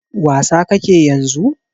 Wasa ka ke yanzu?